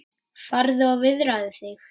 Farðu og viðraðu þig,